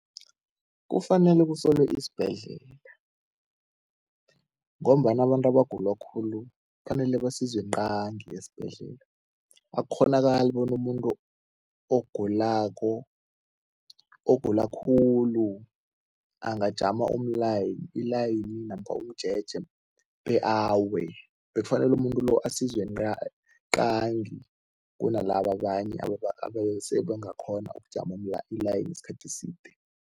Kufanele kusolwe isibhedlela ngombana abantu abagula khulu kufanele basizwe qangi esibhedlela. Akukghonakali bona umuntu ogulako, ogula khulu, angajama umlayini, ilayini namkha umjeje be awe. Bekafanele umuntu lo asizwe qangi kunalaba abanye abase bangakghona ukujama ilayini isikhathi eside.